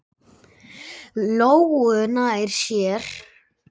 Lóu nærri sér.